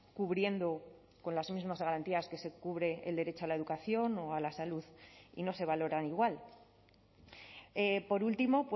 cubriendo con las mismas garantías que se cubre el derecho a la educación o a la salud y no se valoran igual por último